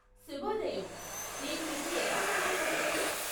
శుభోదయం, నేను మీకు ఎలా సహాయపడగలను?